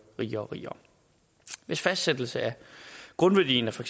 rigere og rigere ved fastsættelsen af grundværdien af for